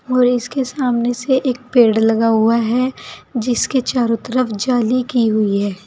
और इसके सामने से एक पेड़ लगा हुआ है जिसके चारों तरफ जाली की हुई है।